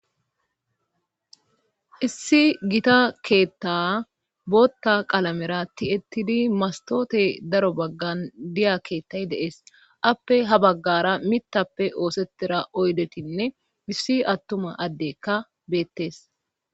issi gita keetta bootta qalamera ti7ettidi mastoote daro baggan diya keettay deees appe ha baggara mitappe oosetira oydetinne missi attuma addekka beettees